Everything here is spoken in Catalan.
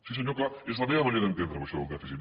sí senyor clar és la meva manera d’entendreho això del dèficit